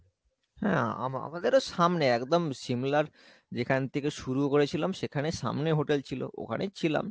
হ্যাঁ আমা~ আমাদের সামনে একদম শিমলার যেখান থেকে শুরু করেছিলাম সেখানে সামনে hotel ছিল ওখানেই ছিলাম।